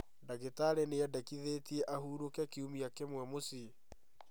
Ndagĩtarĩ nĩendekithĩtie ahurũke kiumia kĩmwe mũciĩ